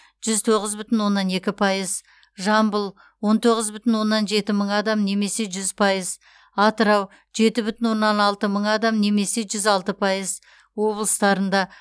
жүз тоғыз бүтін оннан екі пайыз жамбыл он тоғыз бүтін оннан жеті мың адам немесе жүз пайыз атырау жеті бүтін оннан алты мың адам немесе жүз алты пайыз облыстарында